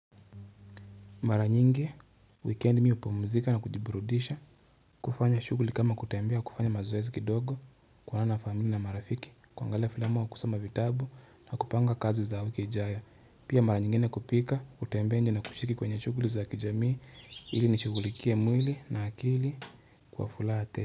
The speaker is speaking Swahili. Mara nyingi weekend mimi hupomzika na kujiburudisha kufanya shuguli kama kutembea kufanya mazoezi kidogo kuonana na familia na marafiki kuangalea filamo au kusoma vitabu na kupanga kazi za wiki ijayo pia mara nyingine kupika kutembea nje na kushiriki kwenye shuguli za kijamii ili nishugulikie mwili na akili kwa furaha tele.